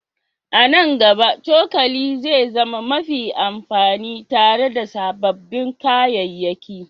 A nan gaba, cokali zai zama mafi amfani tare da sababbin kayayyaki